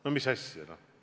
No mis asja!